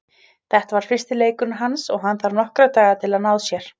Þetta var fyrsti leikurinn hans og hann þarf nokkra daga til að ná sér.